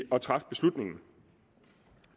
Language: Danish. at træffe beslutningen